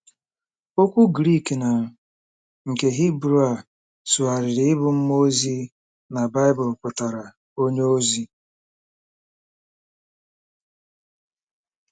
Okwu Grik na nke Hibru a sụgharịrị ịbụ “mmụọ ozi” na Baịbụl pụtara “onye ozi.”